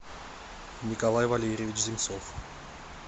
николай валерьевич земцов